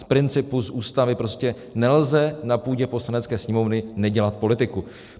Z principu, z Ústavy, prostě nelze na půdě Poslanecké sněmovny nedělat politiku.